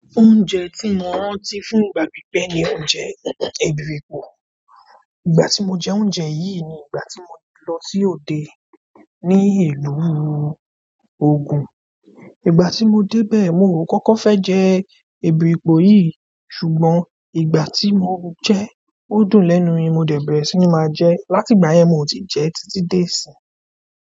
Oúnjẹ tí mo rántí fún ìgbà pípẹ́ ni oúnjẹ èbìrìpò. Ìgbà tí mo jẹ oúnjẹ yìí ni ìgbà tí mo lọ sí òde ní ìlú Ogun. Ìgbà tí mo dé bẹ́ẹ̀, mi ò kọ́kọ́ fẹ́ jẹ èbìrìpò yìí, ṣùgbọ́n ìgbà tí mo jẹ́, o dùn lẹ́nu mi, mo dẹ̀ bẹ̀rẹ̀ sí ní máa jẹ ẹ́. Láti ìgbà yẹn, mí o tí ì jẹẹ́ títí di ìsìnyìí.